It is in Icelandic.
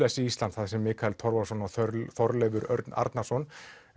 blessi Ísland þar sem Mikael Torfason og Þorleifur Örn Arnarson